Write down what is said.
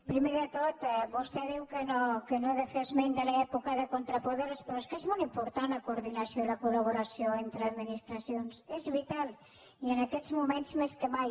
primer de tot vostè diu que no he de fer esment de l’època de contrapoders però és que és molt impor·tant la coordinació i la col·laboració entre administra·cions és vital i en aquests moments més que mai